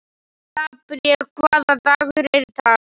Gabríel, hvaða dagur er í dag?